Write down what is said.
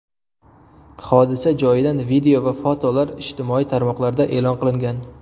Hodisa joyidan video va fotolar ijtimoiy tarmoqlarda e’lon qilingan .